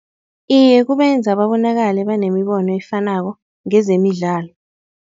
Iye kubenza babonakale banemibono efanako ngezemidlalo.